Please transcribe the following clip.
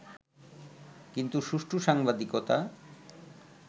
কিন্তু সুষ্ঠু সাংবাদিকতা